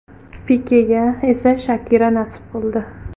Pikega esa Shakira nasib qildi.